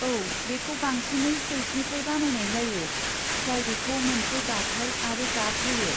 औ, बेखौ बांसिनै सिल्कनिफ्राय बानायनाय जायो जाय बेखौ मोनसे दाथाय आरो गाब होयो।